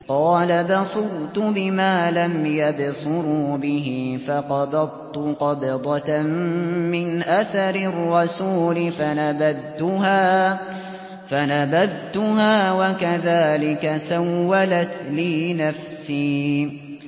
قَالَ بَصُرْتُ بِمَا لَمْ يَبْصُرُوا بِهِ فَقَبَضْتُ قَبْضَةً مِّنْ أَثَرِ الرَّسُولِ فَنَبَذْتُهَا وَكَذَٰلِكَ سَوَّلَتْ لِي نَفْسِي